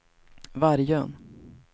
Vargön